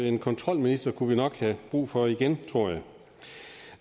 en kontrolminister kunne vi nok have brug for igen tror jeg